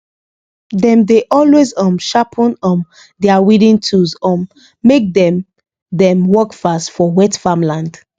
dem dey always um sharpen um their weeding tools um make dem dem work fast for wet farmland